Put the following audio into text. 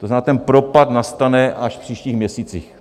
To znamená, ten propad nastane až v příštích měsících.